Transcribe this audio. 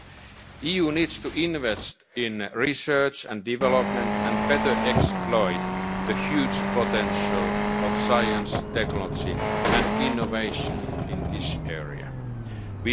it into other products. The EU needs to invest in research and development and to exploit the huge potential of science, technology and innovation in